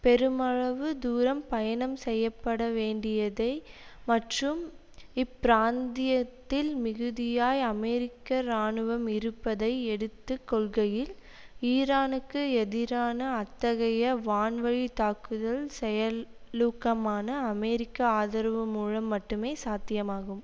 பெருமளவு தூரம் பயணம் செய்ய பட வேண்டியதை மற்றும் இப்பிராந்தியத்தில் மிகுதியாய் அமெரிக்க இராணுவம் இருப்பதை எடுத்து கொள்கையில் ஈரானுக்கு எதிரான அத்தகைய வான் வழி தாக்குதல் செயல் லூக்கமான அமெரிக்க ஆதரவு மூலம் மட்டுமே சாத்தியமாகும்